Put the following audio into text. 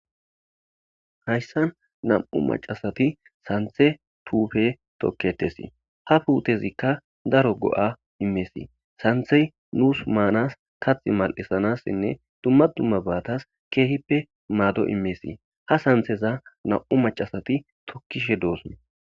Hayssan nam'u maccasati sanththa puute tokketesi ha puutezika daaro go'a immes sanththey nus manas kaththa malisanasinne dumma dummabatas kehippe maado immes ha santheza nam'u maccasati tookishe dossona.